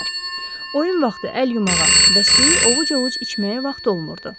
Oyun vaxtı əl yumağa və suyu ovuc-ovuc içməyə vaxt olmurdu.